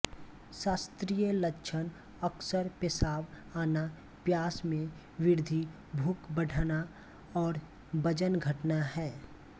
शास्त्रीय लक्षण अक्सर पेशाब आना प्यास में वृद्धि भूख बढ़ना और वजन घटाना हैं